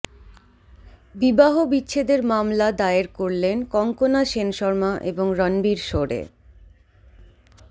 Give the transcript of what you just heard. বিবাহ বিচ্ছেদের মামলা দায়ের করলেন কঙ্কনা সেনশর্মা এবং রণবীর শোরে